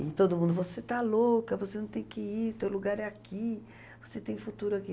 E todo mundo: você está louca, você não tem que ir, teu lugar é aqui, você tem futuro aqui.